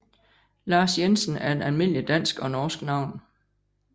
Lars Jensen er et almindeligt dansk og norsk navn